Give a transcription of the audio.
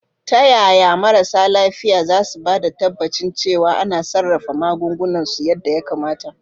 Ta yaya marasa lafiya za su ba da tabbacin cewa ana sarrafa magungunan su yadda ya kamata?